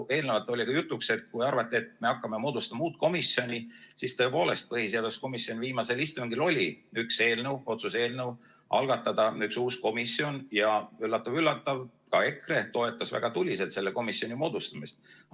Eelnevalt oli ka jutuks, kui arvati, et me hakkame moodustama uut komisjoni, siis tõepoolest, põhiseaduskomisjoni viimasel istungil oli üks otsuse eelnõu, algatada üks uus komisjon, ja üllatav-üllatav, ka EKRE toetas väga tuliselt selle komisjoni moodustamist.